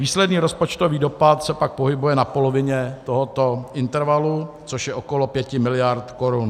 Výsledný rozpočtový dopad se pak pohybuje na polovině tohoto intervalu, což je okolo 5 mld. korun.